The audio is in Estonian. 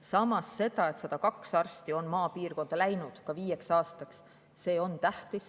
Samas on tähtis ka see, kui 102 arsti on maapiirkonda läinud 5 aastaks.